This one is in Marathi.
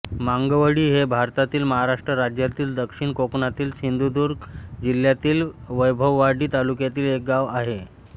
मांगवळी हे भारतातील महाराष्ट्र राज्यातील दक्षिण कोकणातील सिंधुदुर्ग जिल्ह्यातील वैभववाडी तालुक्यातील एक गाव आहे